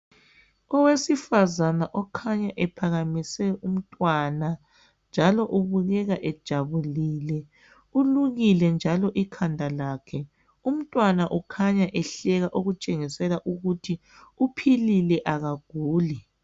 Owesifazana okhanya ephakamise umntwana njalo ubukeka ejabulile ulukile njalo ikhanda lakhe umntwana ukhanya ehleka okutshengisela ukuthi uphill akaguli